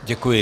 Děkuji.